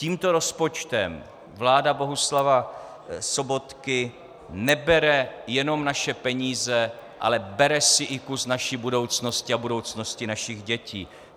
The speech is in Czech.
Tímto rozpočtem vlády Bohuslava Sobotky nebere jenom naše peníze, ale bere si i kus naší budoucnosti a budoucnosti našich dětí.